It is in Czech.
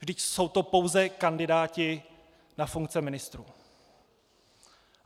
Vždyť jsou to pouze kandidáti na funkce ministrů.